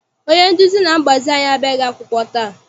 Onye nduzi na mgbazi anyị abịaghị akwụkwọ taa.